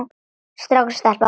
Strákur og stelpa.